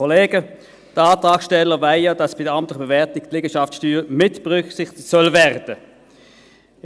Die Antragssteller wollen ja, dass bei der amtlichen Bewertung die Liegenschaftssteuer mitberücksichtigt werden soll.